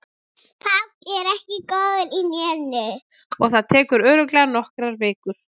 Páll er ekki góður í hnénu og það tekur örugglega nokkrar vikur.